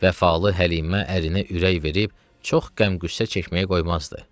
Vəfalı Həlimə ərinə ürək verib, çox qəm-qüssə çəkməyə qoymazdı.